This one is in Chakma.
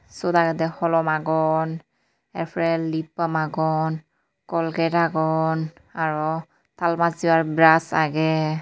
Siyot agede holom agon ar pore lip bump agon Colgate agon aro tal bacchebar brush age.